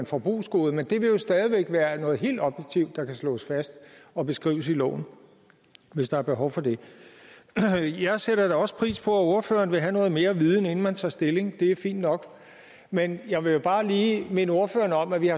forbrugsgoder men det vil jo stadig væk være noget helt objektivt der kan slås fast og beskrives i loven hvis der er behov for det jeg sætter da også pris på at ordføreren vil have noget mere viden inden man tager stilling det er fint nok men jeg vil bare lige minde ordføreren om at vi